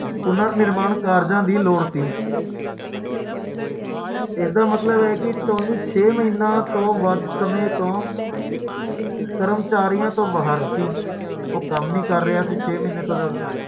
ਸੱਤ ਵਾਰ insurance ਸੱਤ ਵਾਰੀ ਬੀਮਾ ਕਰਾਉਂਦਾ ਹੈ